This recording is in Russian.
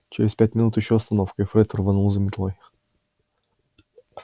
через пять минут ещё остановка и фред рванул за метлой